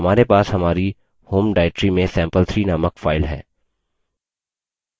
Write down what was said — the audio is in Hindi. हमारे पास हमारी home directory में sample3 named file है